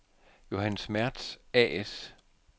Johannes Mertz A/S